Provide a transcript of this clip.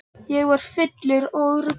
Ég var fullur og ruglaður.